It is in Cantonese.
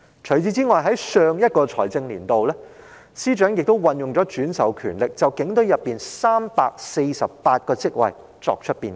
此外，在上一財政年度，司長亦運用轉授權力，就警隊內348個職位作出變更。